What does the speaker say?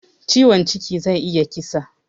Ciwon ciki zai iya kisa